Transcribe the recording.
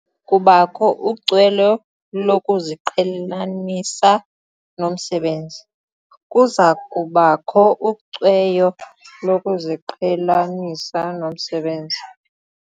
Kubakho ucweyo lokuziqhelanisa nomsebenzi. Kuza kubakho ucweyo lokuziqhelanisa nomsebenzi.